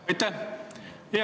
Aitäh!